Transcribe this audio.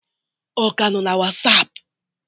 Ọ ka nọ na Wasapụ?